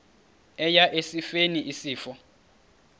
eya esifeni isifo